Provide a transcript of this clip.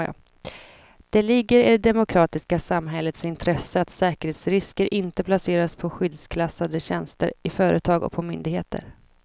Det ligger i det demokratiska samhällets intresse att säkerhetsrisker inte placeras på skyddsklassade tjänster i företag och på myndigheter.